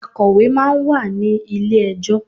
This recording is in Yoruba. Akọ̀wé máa ń wà ní ilé ẹjọ́.